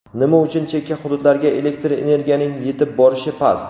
Nima uchun chekka hududlarga elektr energiyaning yetib borishi past?.